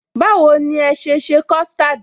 Báwo ni ẹ sese custard?